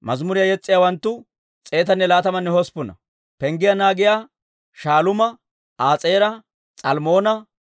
K'eeroosa yaratuwaa, Si'aaha yaratuwaa, Padoona yaratuwaa,